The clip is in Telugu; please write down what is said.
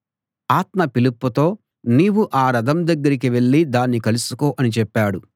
ఆత్మ ఫిలిప్పుతో నీవు ఆ రథం దగ్గరికి వెళ్ళి దాన్ని కలుసుకో అని చెప్పాడు